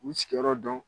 U sigiyɔrɔ dɔn